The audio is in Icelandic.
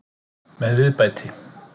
Með viðbæti.